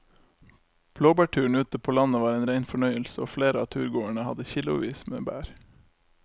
Blåbærturen ute på landet var en rein fornøyelse og flere av turgåerene hadde kilosvis med bær.